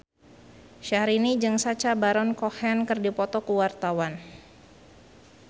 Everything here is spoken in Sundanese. Syahrini jeung Sacha Baron Cohen keur dipoto ku wartawan